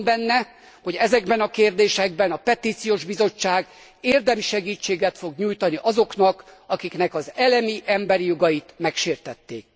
Bízom benne, hogy ezekben a kérdésekben a Petíciós Bizottság érdemi segítséget fog nyújtani azoknak, akiknek az elemi emberi jogait megsértették.